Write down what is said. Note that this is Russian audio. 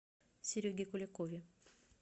сереге куликове